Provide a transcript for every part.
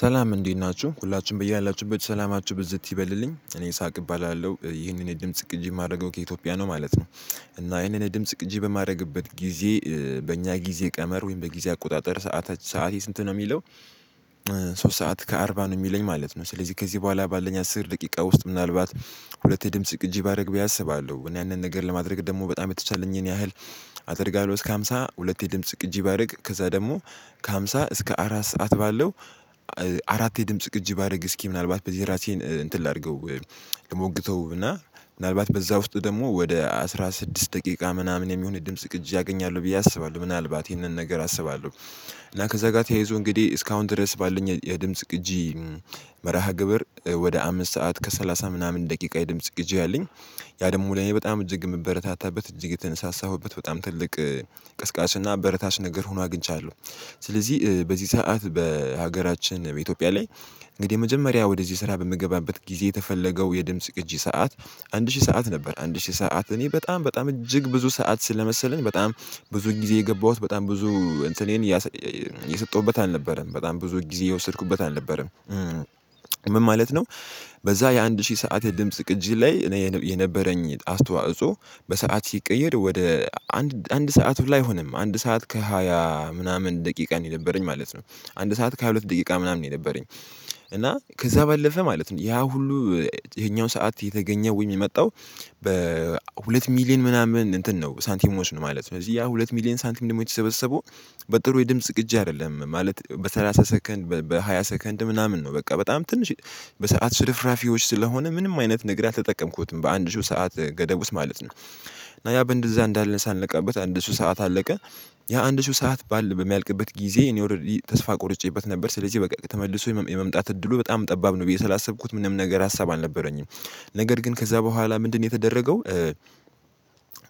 ሰላም እንዴት ናችሁ ሁላችሁም ብያላችሁበት ሰላማችሁ ብዝት ይበልልኝ እኔ ይሳቅ እባላለሁ ይህንን የድምጽ ቅጂ የማደርገው ከኢትዮጵያ ነው ማለት ነው። እና ይሄንን ድምጽ ቅጂ በማድረግበት ጊዜ በእኛ ጊዜ ቀመር ወይም በጊዜ አቆጣጠር ሰዓት ሰዓቴ ስንት ነው የሚለው? ሶስት ሰዓት ከአርባ ነው የሚለኝ ማለት ነው። ስለዚህ ከዚህ በኋላ ባለን አስር ደቂቃ ውስጥ ምናልባት ሁለቴ ድምጽ ግጂ ባደርግ ብዬ አስባለሁ። እኔ ያንን ነገር ለማድረግ ደግሞ በጣም የተቻለኝን ያህል። አደርጋለሁ እስከ ሃምሳ ሁለቴ ድምጽ ቅጂ ባደርግ ከዛ ደግሞ ከሃምሳ እስከ አራት ሰዓት ባለው አራት የድምጽ ቅጅ ባደርግ እስኪ ምናልባት በዚህ ራሴን እንትን ላድርገው። ልሞግተው እና ምናልባት በዛ ውስጥ ደግሞ ወደ አስራ ስድስት ደቂቃ ምናምን የሚሆን የድምጽ ቅጂ አገኛለሁ ብዬ አስባለሁ ምናልባት ይህንን ነገር አስባለሁ። እና ከዛ ጋር ተያይዞ እንግዲህ እስካሁን ድረስ ባለኝ የድምጽ ቅጂ። መርሃ ግብር ወደ አምስት ሰዓት ከሰላሳ ምናምን ደቂቃ የድምጽ ቅጂ አለኝ። ያ ደግሞ ላይ በጣም እጅግ የምበረታታበት እጅግ የተነሳሳሁበት በጣም ትልቅ ቀስቃሽ እና አበረታች ነገር ሆኖ አግኝቻለሁ። ስለዚህ በዚህ ሰዓት በሀገራችን በኢትዮጵያ ላይ እንግዲህ የመጀመሪያ ወደዚህ ስራ በምገባበት ጊዜ የተፈለገው የድምጽ ቅጂ ሰዓት። አንድ ሺህ ሰዓት ነበር አንድ ሺህ ሰዓት እኔ በጣም በጣም እጅግ ብዙ ሰዓት ስለመሰለኝ በጣም ብዙ ጊዜ የገባሁት በጣም ብዙ እንትኔን የሰጠሁበት አልነበረም በጣም ብዙ ጊዜ የወሰድኩበት አልነበረም። ምን ማለት ነው? በዛ የአንድ ሺህ ሰዓት የድምጽ ቅጂ ላይ እኔ የነበረኝ አስተዋጽኦ በሰአት ሲቀየር ወደ አንድ ሰዓት ሁላ አይሆንም አንድ ሰዓት ከሃያ ምናምን ደቂቃ ነው የነበረኝ ማለት ነው። አንድ ሰዓት ከሃያ ሁለት ደቂቃ ምናምን ነው የነበረኝ። እና ከዛ ባለፈ ማለት ነው ያ ሁሉ ይሄኛው ሰዓት የተገኘ ወይም የመጣው። በሁለት ሚሊየን ምናምን እንትን ነው ሳንቲሞች ነው ማለት ነው እዚህ ያ ሁለት ሚሊየን ሳንቲም ደግሞ የተሰበሰበው። በጥሩ የድምጽ ቅጂ አይደለም ማለት በሰላሳ ሰከንድ በሃያ ሰከንድ ምናምን ነው በቃ በጣም ትንሽ በሰአት ሽርፍራፊዎች ስለሆነ ምንም አይነት ነገር አልተጠቀምኩትም በአንድ ሺው ሰዓት ገደብ ውስጥ ማለት ነው። እና ያ በእንደዛ እንዳለን ሳልነቃበት አንድ ሺው ሰዓት አለቀ። ያ አንድ ሺው ሰዓት ባል በሚያልቅበት ጊዜ እኔ ኦሬዲ ተስፋ ቆርጬበት ነበር ስለዚህ በቃ ተመልሶ የመምጣት እድሉ በጣም ጠባብ ነው ብዬ ስላሰብኩት ምንም ነገር ሀሳብ አልነበረኝም። ነገር ግን ከዛ በኋላ ምንድነው የተደረገው?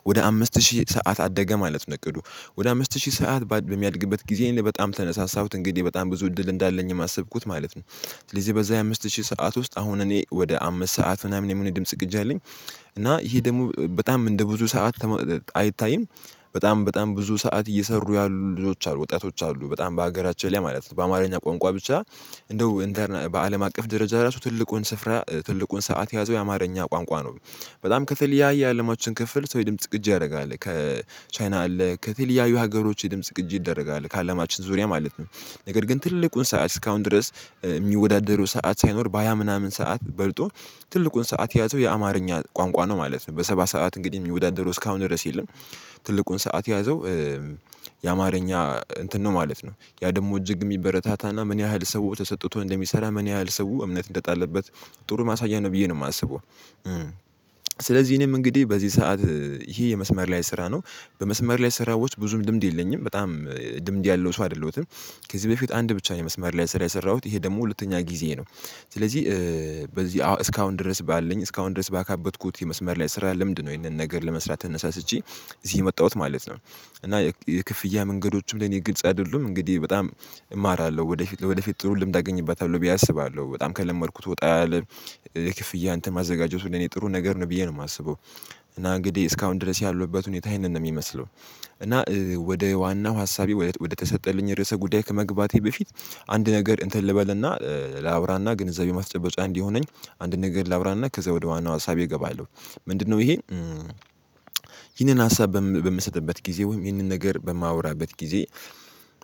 ወደ አምስት ሺህ ሰዓት አደገ ማለት እቅዱ ወደ አምስት ሺህ ሰዓት በሚያድግበት ጊዜ እኔ በጣም ተነሳሳሁት እንግዲህ በጣም ብዙ እድል እንዳለኝም አሰብኩት ማለት ነው። ስለዚህ በዛ የአምስት ሺህ ሰዓት ውስጥ አሁን እኔ ወደ አምስት ሰዓት ምናምን የሚሆን የድምጽ ቅጂ አለኝ። እና ይሄ ደግሞ በጣም እንደ ብዙ ሰዓት አይታይም። በጣም በጣም ብዙ ሰዓት እየሰሩ ያሉ ልጆች አሉ ወጣቶች አሉ በጣም በሀገራችን ላይ ማለት ነው በአማርኛ ቋንቋ ብቻ። እንደው በአለም አቀፍ ደረጃ ራሱ ትልቁን ስፍራ ትልቁን ሰዓት የያዘው የአማርኛ ቋንቋ ነው። በጣም ከተለያየ የአለማችን ክፍል ሰው የድምጽ ቅጂ ያደርጋል ከቻይና አለ ከተለያዩ ሀገሮች ድምጽ ቅጂ ይደረጋል ከአለማችን ዙሪያ ማለት ነው። ነገር ግን ትልቁን ሰዓት እስካሁን ድረስ የሚወዳደረው ሰዓት ሳይኖር በሃያ ምናምን ሰዓት በልጦ ትልቁን ሰዓት ያዘው የአማርኛ ቋንቋ ነው ማለት ነው በሰባ ሰዓት እንግዲህ የሚወዳደሩ እስካሁን ድረስ የለም። ትልቁን ሰዓት የያዘው የአማርኛ እንትን ነው ማለት ነው ያ ደግሞ እጅግ የሚበረታታና ምን ያህል ሰው ተሰጥቶ እንደሚሰራ ምን ያህል ሰው እምነት እንደጣለበት ጥሩ ማሳያ ነው ብዬ ነው የማስበው። ስለዚህ እኔም እንግዲህ በዚህ ሰዓት ይሄ የመስመር ላይ ስራ ነው። በመስመር ላይ ስራዎች ብዙም ድምድ የለኝም በጣም ልምድ ያለው ሰው አይደለሁትም። ከዚህ በፊት አንድ ብቻ ነው መስመር ላይ ስራ የሰራሁት ይሄ ደግሞ ሁለተኛ ጊዜ ነው። ስለዚህ በዚህ እስካሁን ድረስ ባለኝ እስካሁን ድረስ ባካበትኩት የመስመር ላይ ስራ ልምድ ነው ይሄንን ነገር ለመስራት እነሳሳችኝ። እዚህ የመጣሁት ማለት ነው። እና የክፍያ መንገዶቹ ለኔ ግልጽ አይደሉም እንግዲህ በጣም እማራለሁ ወደፊት ወደፊት ጥሩ ልምድ አገኝበታለው ብዬ አስባለሁ በጣም ከለመድኩት ወጣ ያለ ክፍያ እንትን ማዘጋጀቱ ለኔ ጥሩ ነገር ነው ብዬ ነው የማስበው። እና እንግዲህ እስካሁን ድረስ ያለሁበት ሁኔታ ይሄ ነው የሚመስለው። እና ወደ ዋናው ሀሳቤ ወደ ተሰጠልኝ ርዕሰ ጉዳይ ከመግባቴ በፊት አንድ ነገር እንትን ልበልና ላውራና ግንዛቤው ማስጨበጫ እንዲሆነኝ አንድ ነገር ላውራና ከዛ ወደ ዋናው ሀሳቤ እገባለሁ። ምንድነው ይሄ? ይህንን ሀሳብ በምሰጥበት ጊዜ ወይም ይህንን ነገር በማወራበት ጊዜ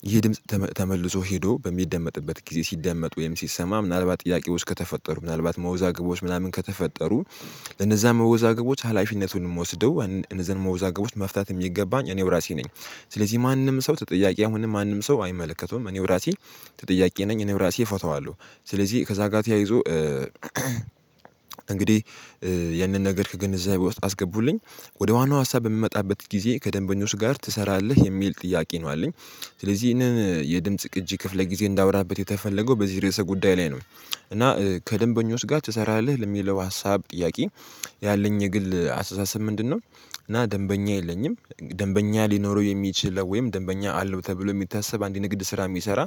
ይሄ ድምጽ ተመልሶ ሄዶ በሚደመጥበት ጊዜ ሲደመጥ ወይም ሲሰማ ምናልባት ጥያቄዎች ከተፈጠሩ ምናልባት መውዛግቦች ምናምን ከተፈጠሩ። ለነዛ መወዛገቦች ሀላፊነቱን የምወስደው እነዛን መወዛገቦች መፍታት የሚገባኝ እኔው ራሴ ነኝ። ስለዚህ ማንም ሰው ተጠያቂ አሁንም ማንም ሰው አይመለከተውም እኔው ራሴ። ተጠያቂ ነኝ እኔው ራሴ እፈታዋለሁ። ስለዚህ ከዛ ጋር ያይዞ እንግዲህ ያንን ነገር ከግንዛቤ ውስጥ አስገቡልኝ። ወደ ዋናው ሀሳብ በምመጣበት ጊዜ ከደንበኞች ጋር ትሰራለህ የሚል ጥያቄ ነው አለኝ። ስለዚህ ይሄንን የድምጽ ቅጂ ክፍል ጊዜ እንዳወራበት የተፈለገው በዚህ ርዕሰ ጉዳይ ላይ ነው። እና ከደንበኞች ጋር ትሰራለህ ለሚለው ሀሳብ ጥያቄ? ያለኝ የግል አስተሳሰብ ምንድነው? እና ደንበኛ የለኝም ደንበኛ ሊኖረው የሚችል ወይም ደንበኛ አለው ተብሎ የሚታሰብ አንድ ንግድ ስራ የሚሰራ።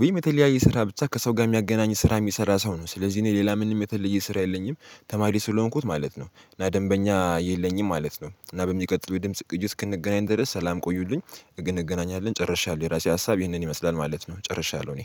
ወይም የተለያየ ስራ ብቻ ከሰው ጋር የሚያገናኝ ስራ የሚሰራ ሰው ነው ስለዚህ እኔ ሌላ ምንም የተለየ ስራ የለኝም። ተማሪ ስለሆንኩት ማለት ነው እና ደንበኛ የለኝም ማለት ነው። እና በሚቀጥለው የድምጽ ቅጂ እስክንገናኝ ድረስ ሰላም ቆዩልኝ። ነገ እገናኛለንሁ ጨርሻለው የራሴ ሀሳብ ይህንን ይመስላል ማለት ነው። ጨርሻለሁ እኔ